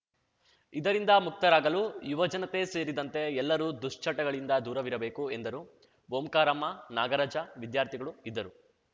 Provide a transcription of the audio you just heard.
ಇದರಿಂದ ಮುಕ್ತರಾಗಲು ಯುವ ಜನತೆ ಸೇರಿದಂತೆ ಎಲ್ಲರೂ ದುಶ್ಚಟಗಳಿಂದ ದೂರವಿರಬೇಕು ಎಂದರು ಓಂಕಾರಮ್ಮ ನಾಗರಾಜ ವಿದ್ಯಾರ್ಥಿಗಳು ಇದ್ದರು